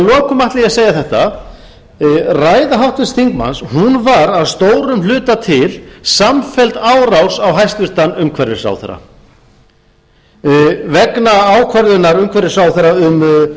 ætla ég að segja þetta ræða háttvirts þingmanns var að stórum hluta til samfelld árás á hæstvirtur umhverfisráðherra vegna ákvörðunar umhverfisráðherra um